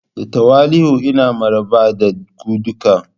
Da tawali'u ina maraba da ku duka.